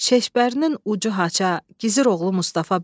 Şeşbərinin ucu haça, gizir oğlu Mustafa bəy.